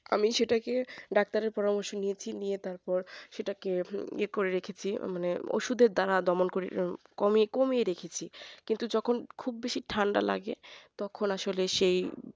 আমি সেটাকে doctor এর পরামর্শ নিয়েছি তারপর সেটাকে ইয়ে করে রেখেছি মানে ওষুধের দ্বারা দমন করে কমিয়ে রেখেছি। কিন্তু যখন খুব বেশি ঠান্ডা লেগে তখন আসলে সেই